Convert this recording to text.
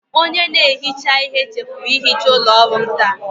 Onye na-ehicha ihe chefuru ihicha ụlọ ọrụ m taa.